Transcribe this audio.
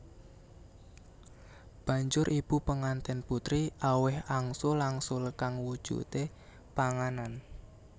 Banjur ibu penganten putri aweh angsul angsul kang wujude panganan